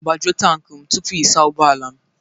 Gbajuo tankị m tupu ị saa ụgbọ ala m